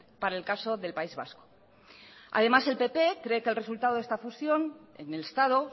para el caso del país vasco además el pp cree que el resultado de esta fusión en el estado